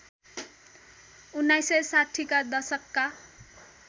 १९६० का दशकका